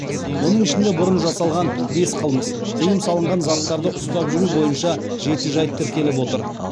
оның ішінде бұрын жасалған бес қылмыс тыйым салынған заттарды ұстап жүру бойынша жеті жайт тіркеліп отыр